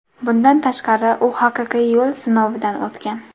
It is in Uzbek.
Bundan tashqari, u haqiqiy yo‘l sinovidan o‘tgan.